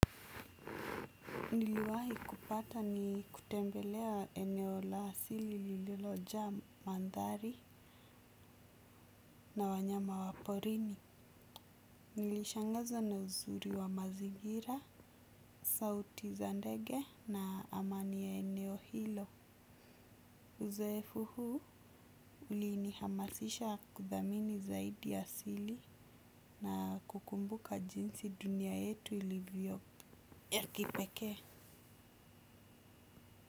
Niliwahi kupata ni kutembelea eneo la siri lililoja mandhari na wanyama wa porini. Nilishangazwa na uzuri wa mazigira, sauti za ndege na amani ya eneo hilo. Uzoefu huu ulinihamasisha kudhamini zaidi asili na kukumbuka jinsi dunia yetu ilivyo ya kipekee.